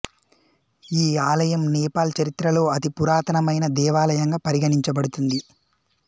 ఈ ఆలయం నేపాల్ చరిత్రలో అతి పురాతనమైన దేవాలయంగా పరిగణించబడుతుంది